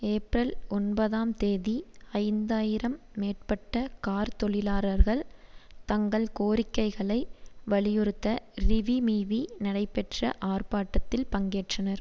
April ஒன்பதாம் தேதி ஐந்து ஆயிரம் மேற்பட்ட கார் தொழிலாரர்கள் தங்கள் கோரிக்கைகளை வலியுறுத்த றிவீமீவீ நடைபெற்ற ஆர்ப்பாட்டத்தில் பங்கேற்றனர்